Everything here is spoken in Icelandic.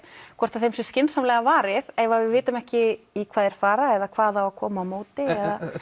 hvort þeim sé skynsamlega varið ef við vitum ekki í hvað þeir fara eða hvað á að koma á móti og